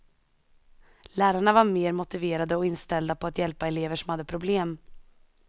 Lärarna var mer motiverade och inställda på att hjälpa elever som hade problem.